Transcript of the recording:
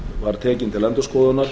var tekin til endurskoðunar